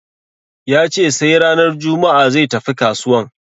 Ya ce sai ranar juma'a zai tafi kasuwan.